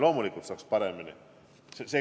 Loomulikult saaks paremini.